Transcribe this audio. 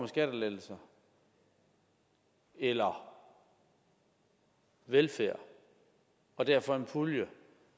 skattelettelser eller velfærd og derfor en pulje